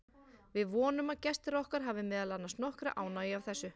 Við vonum að gestir okkar hafi meðal annars nokkra ánægju af þessu.